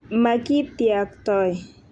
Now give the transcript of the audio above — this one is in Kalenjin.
makitiaktoi.